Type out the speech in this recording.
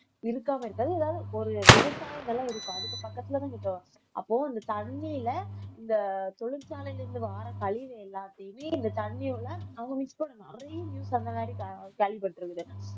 இருக்காம இருக்காது ஏதாவது ஒரு விவசாய நிலம் இருக்கும் அதுக்கு பக்கத்துல அப்போ அந்த தண்ணியில இந்த தொழிற்சாலையில இருந்து வார கழிவு எல்லாத்தையுமே இந்த தண்ணியோட அவங்க mix பண்ண நிறைய news அந்த மாதிரி கேள்விப்பட்டிருக்குது